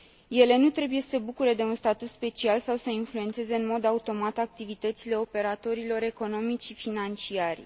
Ele nu trebuie să se bucure de un statut special sau să influențeze în mod automat activitățile operatorilor economici și financiari.